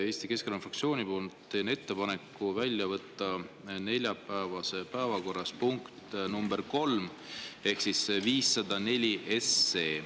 Eesti Keskerakonna fraktsiooni nimel teen ettepaneku võtta neljapäevasest päevakorrast välja punkt nr 3 ehk siis 504 SE.